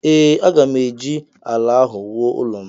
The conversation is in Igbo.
Ee, aga m eji ala ahụ wuo ụlọ m